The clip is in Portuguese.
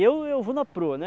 Eu eu vou na proa, né?